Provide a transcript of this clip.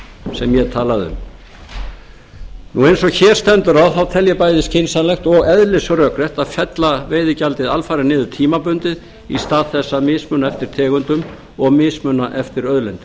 sem ég talaði um eins og hér stendur á þá tel ég bæði skynsamlegt og eðlisrök rétt að fella veiðigjaldið alfarið niður tímabundið í stað þess að mismuna eftir tegundum og mismuna eftir auðlindum